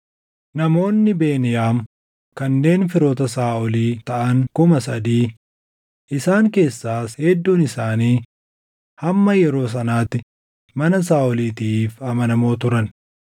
namoonni Beniyaam kanneen firoota Saaʼolii taʼan 3,000; isaan keessaas hedduun isaanii hamma yeroo sanaatti mana Saaʼoliitiif amanamoo turan;